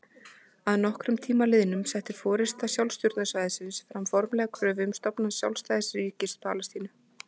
Að nokkrum tíma liðnum setti forysta sjálfstjórnarsvæðisins fram formlega kröfu um stofnun sjálfstæðs ríkis Palestínu.